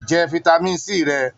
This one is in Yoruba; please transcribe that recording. Jẹ fitami C rẹ!